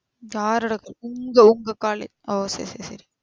உங்க உங்க காலேஜ் ஓ சேரி சேரி சேரி.